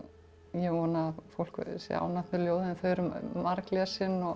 ég vona að fólk sé ánægt með ljóðin þau eru